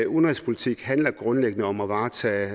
udenrigspolitik handler grundlæggende om at varetage